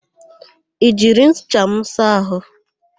I jiri ncha m saa àhụ́?